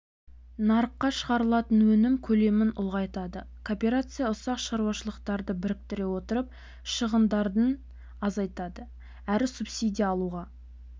нарыққа шығарылатын өнім көлемін ұлғайтады кооперация ұсақ шаруашылықтарды біріктіре отырып шығындарын азайтады әрі субсидия алуға